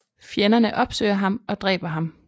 Fjenderne opsøger ham og dræber ham